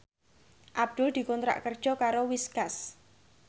Abdul dikontrak kerja karo Whiskas